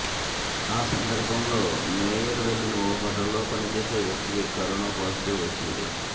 ఆ సందర్భంలో మేయర్ వెళ్లిన ఓ హోటల్లో పనిచేసే వ్యక్తికి కరోనా పాజిటివ్ వచ్చింది